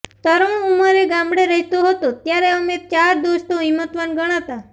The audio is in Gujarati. તરુણ ઉંમરે ગામડે રહેતો હતો ત્યારે અમે ચાર દોસ્તો હિંમતવાન ગણાતા